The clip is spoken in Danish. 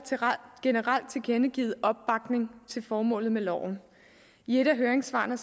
generelt tilkendegivet opbakning til formålet med loven i et af høringssvarene